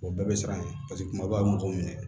O bɛɛ bɛ siran ye paseke kuma bɛɛ a bɛ mɔgɔw minɛ